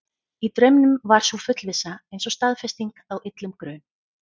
Í draumnum var sú fullvissa eins og staðfesting á illum grun.